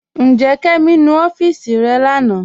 Njẹ́, Kẹmi nú ọfiísì rẹ̀ lánà?